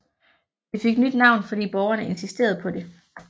Det fik nyt navn fordi borgerne insisterede på det